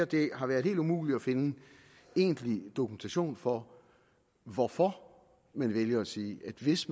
det har været helt umuligt at finde egentlig dokumentation for hvorfor man vælger at sige at hvis